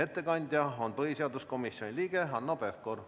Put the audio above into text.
Ettekandja on põhiseaduskomisjoni liige Hanno Pevkur.